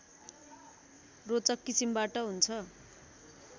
रोचक किसिमबाट हुन्छ